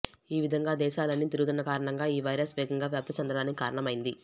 ఈ విధంగా దేశాలన్నీ తిరుగుతున్న కారణంగా ఈ వైరస్ వేగంగా వ్యాప్తి చెందడానికి కారణమైంది